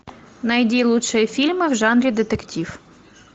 найди лучшие фильмы в жанре детектив